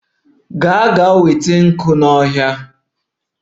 Gaa na-enweta nkwu si n'ọhịa!